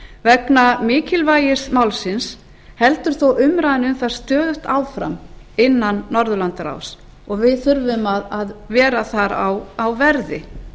vegna mikilvægis málsins heldur þó umræðan um það stöðugt áfram innan norðurlandaráðs og við þurfum að vera þar á verði